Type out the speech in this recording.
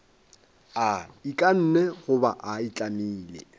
a ikanne goba a itlamile